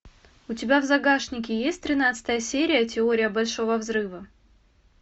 у тебя в загашнике есть тринадцатая серия теория большого взрыва